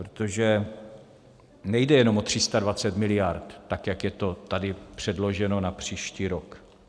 Protože nejde jenom o 320 miliard, tak jak je to tady předloženo na příští rok.